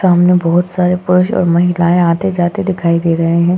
सामने बहुत सारे पुरुष और महिलाएं आते-जाते दिखाई दे रहे हैं।